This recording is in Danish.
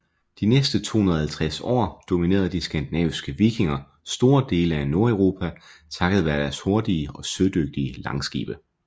De næste 250 år dominerede de skandinaviske vikinger store dele af Nordeuropa takket være deres hurtige og sødygtige langskibe